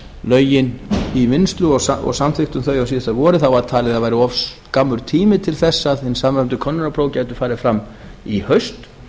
lögin í vinnslu og samþykktum þau á síðasta vori var talið að það væri of skammur tími til þess að hin samræmdu könnunarpróf gætu farið fram í haust